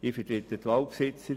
Ich vertrete die Waldbesitzer.